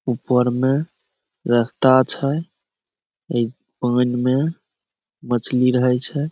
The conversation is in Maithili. ऊपर में रस्ता छै ए पैन में मछली रहे छै।